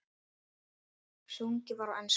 Sungið var á ensku.